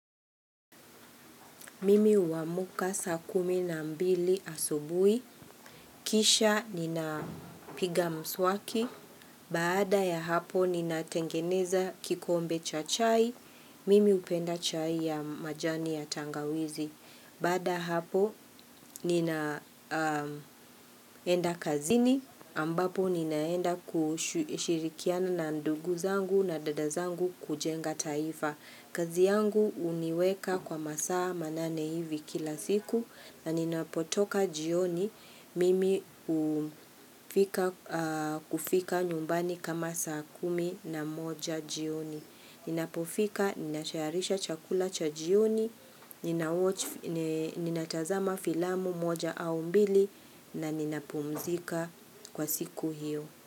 Mimi huamuka saa kumi na mbili asubuhi, kisha ninapiga mswaki, baada ya hapo ninatengeneza kikombe cha chai, mimi hupenda chai ya majani ya tangawizi. Baada ya hapo ninaenda kazini ambapo ninaenda kushirikiana na ndugu zangu na dada zangu kujenga taifa. Kazi yangu huniweka kwa masaa manane hivi kila siku na nina potoka jioni mimi kufika nyumbani kama saa kumi na moja jioni. Ninapofika, ninatayarisha chakula cha jioni, ninatazama filamu moja au mbili na ninapumzika kwa siku hiyo.